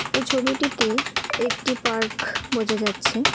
এই ছবিটিতে একটি পার্ক বোঝা যাচ্ছে।